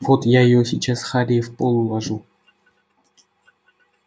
вот я её сейчас харей в пол уложу